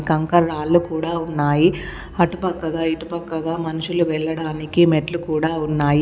కంకర్ రాళ్లు కూడా ఉన్నాయి అటుపక్కగా ఇటుపక్కగా మనుషులు వెళ్లడానికి మెట్లు కూడా ఉన్నాయి.